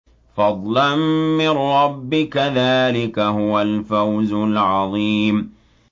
فَضْلًا مِّن رَّبِّكَ ۚ ذَٰلِكَ هُوَ الْفَوْزُ الْعَظِيمُ